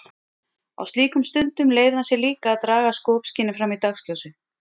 Á slíkum stundum leyfði hann sér líka að draga skopskynið fram í dagsljósið.